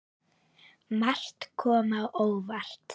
Margt kom á óvart.